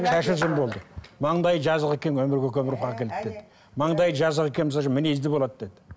шашы ұзын болды маңдайы жазық екен өмірге көп ұрпақ әкеледі деді маңдайы жазық екен мінезді болады деді